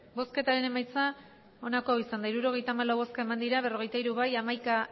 emandako botoak hirurogeita hamalau bai berrogeita hiru ez hamaika